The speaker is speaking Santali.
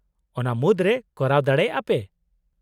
-ᱚᱱᱟ ᱢᱩᱫᱨᱮ ᱠᱚᱨᱟᱣ ᱫᱟᱲᱮᱭᱟᱜᱼᱟ ᱯᱮ ?